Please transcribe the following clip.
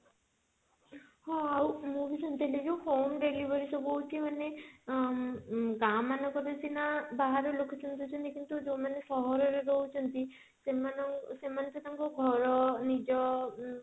ହଁ ଆଉ ମୁଁ ବି ଶୁଣିଥିଲି ଯଉ home delivery ସବୁ ହଉଛି ମାନେ ମ ଗାଁ ମାନଙ୍କ ରେ ସିନା ବାହାରେ location ହୁଏନି କିନ୍ତୁ ଯଉମାନେ ସହର ରେ ରହୁଛନ୍ତି ସେମାନେ ଅ ସେମାନେ ତ ତାଙ୍କ ଘର ନିଜ ଉଁ